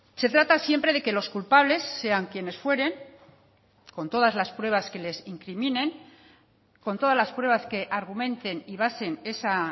se trata siempre de que los culpables sean quienes fueren con todas las pruebas que les incriminen con todas las pruebas que argumenten y basen esa